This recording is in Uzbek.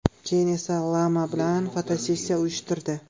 Keyin esa lama bilan fotosessiya uyushtirdi.